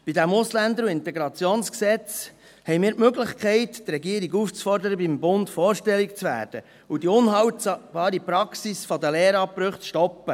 Bei diesem EG AIG und AsylG haben wir die Möglichkeit, die Regierung aufzufordern, beim Bund vorstellig zu werden, und die unhaltbare Praxis der Lehrabbrüche zu stoppen.